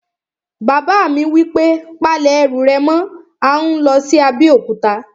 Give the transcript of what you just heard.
Bàbá mi wí pé, "Pa lẹ̀ ẹrù rẹ̀ mọ́! à ń lọ sí Abéòkúta